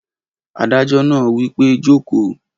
Adájọ́ náà wí pé jòkó!